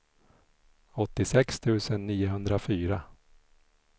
åttiosex tusen niohundrafyra